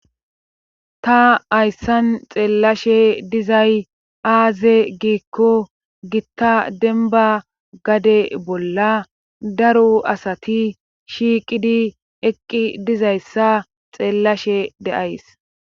ta ayssan xeellashe dizay aaze giikko gitta denba gade bolla daru asati shiiqidi eqqi dizayssa xeellashe de7ays